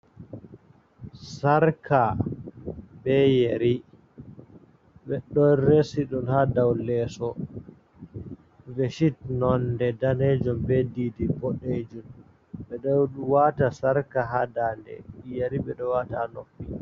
Sarka be yeri ɗon resi ɗum ha dau leeso, beshit nonde danejum be didi bodejum. Ɓe ɗo waata sarka ha dande yeri ɓe ɗo waata ha noppi.